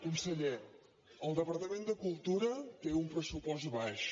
conseller el departament de cultura té un pressupost baix